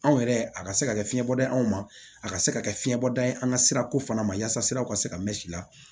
Anw yɛrɛ a ka se ka kɛ fiɲɛbɔda ye anw ma a ka se ka kɛ fiɲɛ bɔda ye an ka sira ko fana ma yaasa siraw ka se ka mɛ si la